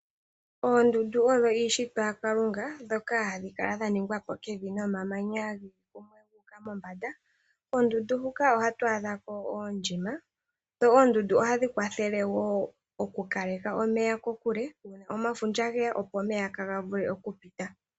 Oondundu odho iishitwa yaKalunga ndhoka hadhi kala dha ningwa po kevi nomamanya geli kumwe gu uka mombanda. Koondundu huka ohatu adha ko oondjima, dho oondundu ohadhi kwathele wo okukaleke omeya kokule nenge omafundja geya opo omeya kaaga vule okupita.